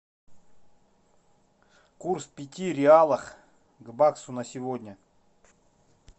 курс пяти реалов к баксу на сегодня